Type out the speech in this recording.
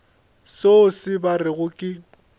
selo se ba rego ke